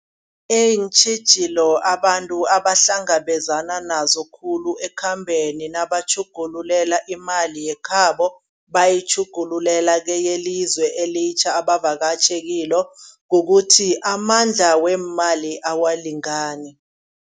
Iintjhijilo abantu abahlangabezana nazo khulu ekhambeni nabatjhugululela imali yekhabo, bayitjhugululela keyelizwe elitjha abavakatjhi kilo. Kukuthi amandla weemali awalingani.